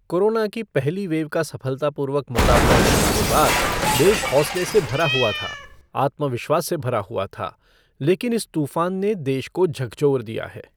Corona की पहली wave का सफलतापूर्वक मुकाबला करने के बाद देश हौंसले से भरा हुआ था, आत्मविश्वास से भरा हुआ था, लेकिन इस तूफ़ान ने देश को झकझोर दिया है।